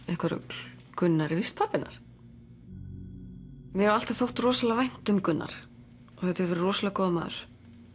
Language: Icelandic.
eitthvað rugl Gunnar er víst pabbi hennar mér hefur alltaf þótt rosalega vænt um Gunnar og þetta er rosalega góður maður